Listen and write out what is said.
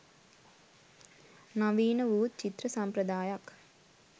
නවීනවූත් චිත්‍ර සම්ප්‍රදායක්